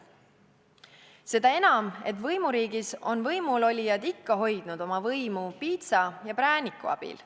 Seda enam, et võimuriigis on võimulolijad ikka hoidnud oma võimu piitsa ja prääniku abil.